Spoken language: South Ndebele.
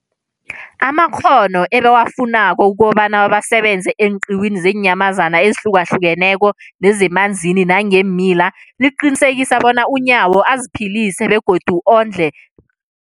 amakghono ebawafunako ukobana basebenze eenqiwini zeenyamazana ezihlukahlukeneko nezemanzini nangeemila, liqinisekisa bona uNyawo aziphilise bekondle